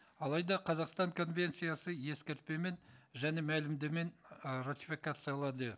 алайда қазақстан конвенциясы ескертпе мен және ы